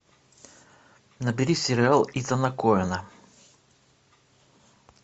набери сериал итана коэна